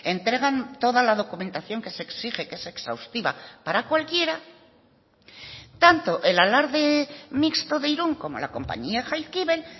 entregan toda la documentación que se exige que es exhaustiva para cualquiera tanto el alarde mixto de irún como la compañía jaizkibel